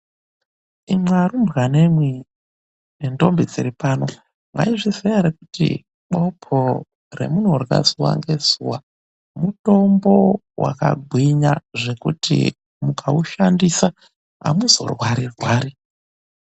Imwi arumbwanamwi nendombi dziri pano. Mwaizviziya ere kuti bopo ramunorya zuva ngezuva mutombo wakagwinya zvekuti mukaushandisa amuzorwari-rwari.